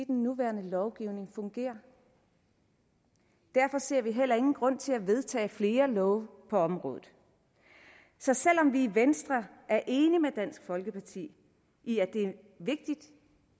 den nuværende lovgivning fungerer derfor ser vi heller ingen grund til at vedtage flere love på området så selv om vi i venstre er enige med dansk folkeparti i at det er vigtigt